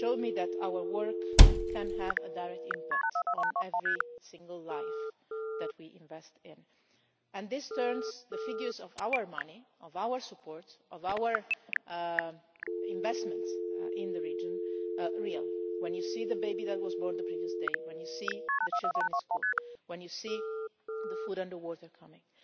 It showed me that our work can have a direct impact on every single life that we invest in, and this makes the figures for our money, our support, our investments in the region, real when you see the baby that was born the previous day, when you see the children in school, when you see the food and water coming.